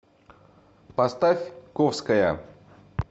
поставь ковская